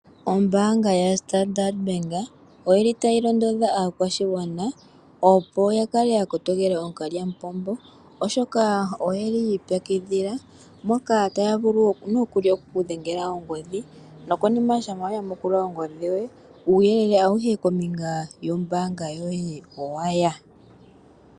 Ombaanga yoStandard Bank oyili tayi londodha aakwashigwana opo ya kale ya kotokela ookalyamupombo, oshoka oye li yiipyakidhila moka taya vulu nokuli oku ku dhengela ongodhi, nokonima shampa wa yamukula ongodhi yoye, uyelele awuhe kombinga yombaanga yoye owaya.